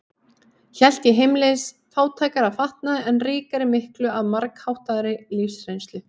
Hélt ég heimleiðis fátækari að fatnaði, en ríkari miklu að margháttaðri lífsreynslu.